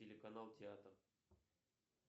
телеканал театр